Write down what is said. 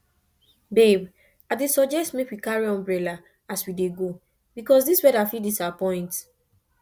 babe i dey suggest make we carry umbrella as we dey go because this weather fit disappoint